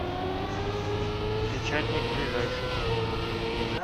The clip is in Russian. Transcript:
печатник ближайший